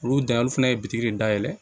Olu dan olu fana ye bitigi de dayɛlɛ